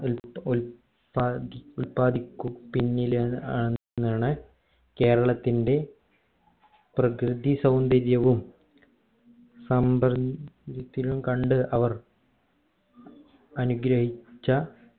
പാകി ഉൽപാതിക്കു പിന്നിലാണ് ആണെന്നാണ് കേരളത്തിന്റെ പ്രകൃതി സൗന്ദര്യവും കണ്ട് അവർ അനുഗ്രഹിച്ച